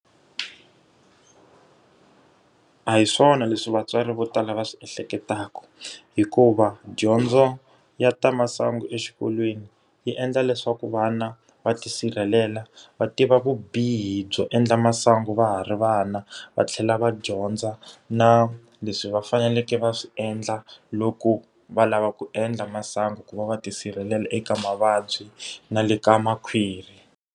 A hi swona leswi vatswari vo tala va swi ehleketaka. Hikuva dyondzo ya ta masangu exikolweni, yi endla leswaku vana va tisirhelela va tiva vubihi byo endla masangu va ha ri vana, va tlhela va dyondza na leswi va faneleke va swi endla loko va lava ku endla masangu. Ku va va tisirhelela eka mavabyi na le ka makhwiri.